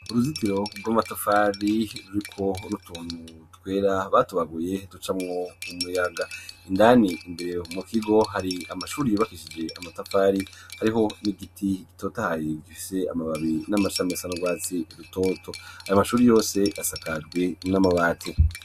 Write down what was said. Uruzitiro rw'amatafari ruriko utuntu twera batubaguye duca mwo umuyaga indani imbere mu kigo hari amashuri bakishije amatafari hariho n'igiti gitoto hayegiise amababi n'amachamesanu gwatsi rutoto ayo mashuri yose asakajwi n'amabati.